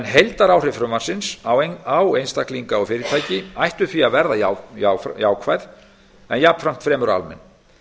heildaráhrif frumvarpsins á einstaklinga og fyrirtæki ættu því að verða jákvæð en jafnframt fremur almenn